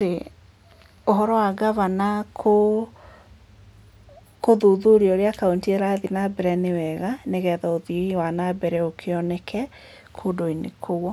ci Ũhoro wa gavana gũthuthuria ũrĩa kaũntĩ irathiĩ na mbere nĩ wega nĩgetha ũthii wa na mbere ũkĩoneke kũndũ-inĩ kũu.